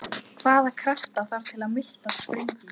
Hvaða krafta þarf til að miltað springi?